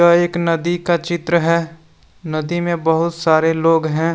यह एक नदी का चित्र है नदी में बहुत सारे लोग हैं।